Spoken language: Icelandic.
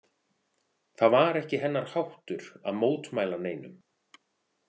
Það var ekki hennar háttur að mótmæla neinum.